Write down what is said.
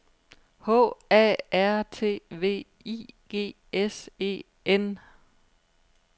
H A R T V I G S E N